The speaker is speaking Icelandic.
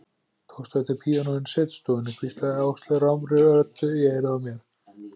Tókstu eftir píanóinu í setustofunni? hvíslaði Áslaug rámri röddu í eyrað á mér.